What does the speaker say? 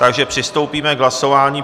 Takže přistoupíme k hlasování.